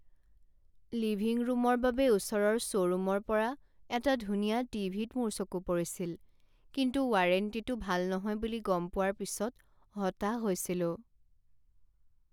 Living ৰূমৰ বাবে ওচৰৰ শ্ব'ৰুমৰ পৰা এটা ধুনীয়া টিভি ত মোৰ চকু পৰিছিল কিন্তু ৱাৰেণ্টিটো ভাল নহয় বুলি গম পোৱাৰ পিছত হতাশ হৈছিলো।